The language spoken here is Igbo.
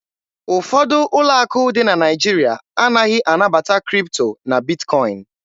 Ụfọdụ ụlọ akụ dị na Naịjirịa anaghị anabata Kripto na Bitkọin.